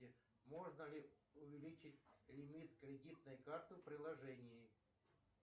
можно ли увеличить лимит кредитной карты в приложении